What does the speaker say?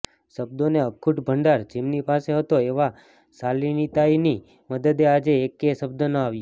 શબ્દોનો અખૂટ ભંડાર જેમની પાસે હતો એવાં શાલિનીતાઈની મદદે આજે એક્કે શબ્દ ન આવ્યો